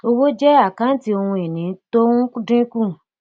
owó jẹ àkántì ohun ìní tó ń dínkù